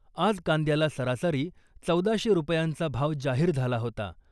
आज कांद्याला सरासरी चौदाशे रुपयांचा भाव जाहीर झाला होता .